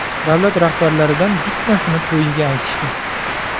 Davlat rahbarlaridan bittasini to‘yiga aytishdi.